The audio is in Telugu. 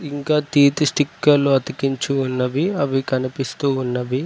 ఇంకా తీపి స్టిక్కర్లు అతికించి ఉన్నవి అవి కనిపిస్తూ ఉన్నవి.